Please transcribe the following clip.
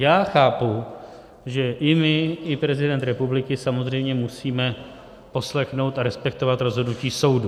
Já chápu, že i my i prezident republiky samozřejmě musíme poslechnout a respektovat rozhodnutí soudu.